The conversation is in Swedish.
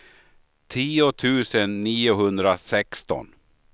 tio tusen niohundrasexton